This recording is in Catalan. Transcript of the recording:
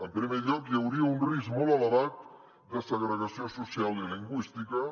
en primer lloc hi hauria un risc molt elevat de segregació social i lingüística